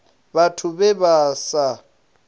vhathu vhe vha vha sa